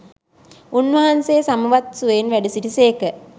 උන්වහන්සේ සමවත් සුවයෙන් වැඩසිටි සේක.